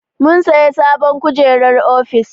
Mun sayi sabon kujerar ofis.